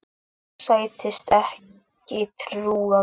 Sagðist ekki trúa mér.